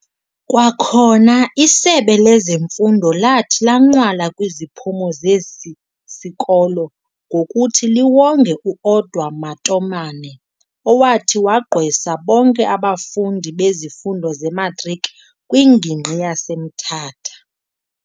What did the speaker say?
Kwakhona isebe lezeMfundo lathi lanqwala kwiziphumo zesi sikolo ngokuthi liwonge uOdwa Matomane owathi wagqwesa bonke abafundi bezifundo zeMatriki kwingingqi yaseMthatha.